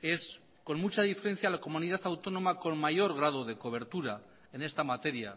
es con mucha diferencia la comunidad autónoma con mayor grado de cobertura en esta materia